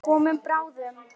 Við komum bráðum.